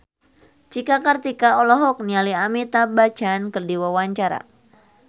Cika Kartika olohok ningali Amitabh Bachchan keur diwawancara